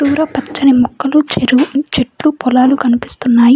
దూర పచ్చని మొక్కలు చెరువు చెట్లు పొలాలు కనిపిస్తున్నాయి.